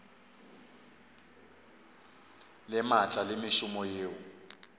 le maatla le mešomo yeo